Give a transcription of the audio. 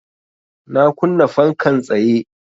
Na kunna fankan tsaye